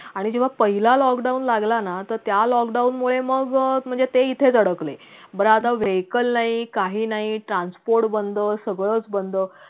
अरे जेव्हा पहिला lockdown लागला ना तर त्या lockdown मुळे मग अं म्हणजे ते इथेच अडकले पण आता vehicle नाही काही नाही transport बंद सगळंच बंद